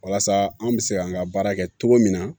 Walasa an bɛ se ka an ka baara kɛ cogo min na